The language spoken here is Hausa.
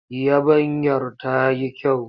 Yabanyar ta yi kyau.